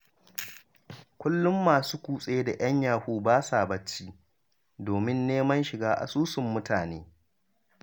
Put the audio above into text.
Kullum masu kutse da 'yan yahu ba sa bacci, domin neman shiga asusun mutane.